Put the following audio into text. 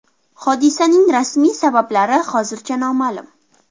Hodisaning rasmiy sabablari hozircha noma’lum.